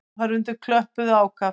Áhorfendur klöppuðu ákaft.